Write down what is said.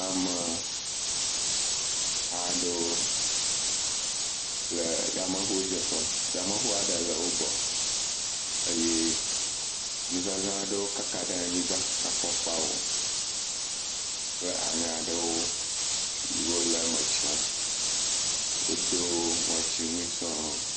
Ameha aɖewo le yameŋudzeƒe. Yameŋu aɖe le wo gbɔ eye nuzaza aɖewo kaka ɖe anyigba, afɔkpawo, kple aŋe ɖewo si wole eme tiam. Wodo ŋɔtiwui sɔŋ.